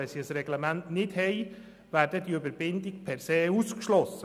Wenn sie kein Reglement haben, wäre die Weiterverrechnung per se ausgeschlossen.